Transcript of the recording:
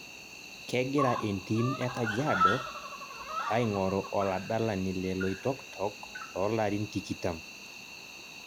Kegira entim e kajiado aing'oru oladalani le Loiitoktok loolarin tikitam